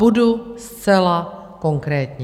Budu zcela konkrétní.